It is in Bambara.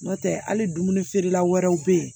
N'o tɛ hali dumuni feerela wɛrɛw bɛ yen